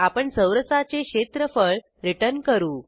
आपण चौरसाचे क्षेत्रफळ रिटर्न करू